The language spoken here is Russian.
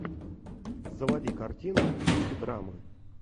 заводи картину в духе драмы